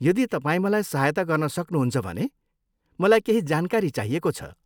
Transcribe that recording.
यदि तपाईँ मलाई सहायता गर्न सक्नुहुन्छ भने मलाई केही जानकारी चाहिएको छ।